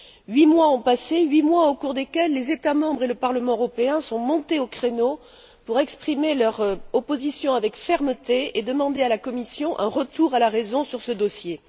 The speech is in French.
Huit mois ont passé, huit mois au cours desquels les États membres et le Parlement européen sont montés au créneau pour exprimer leur opposition avec fermeté et demander à la Commission un retour à la raison sur ce dossier.